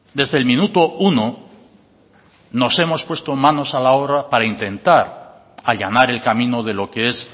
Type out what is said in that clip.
desde el minuto uno nos hemos puesto manos a la obra para intentar allanar el camino de lo que es